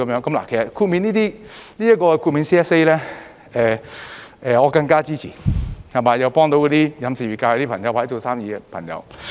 其實 ，CSA 中的豁免，我是更加支持的，又可以幫助到飲食業界或做生意的朋友。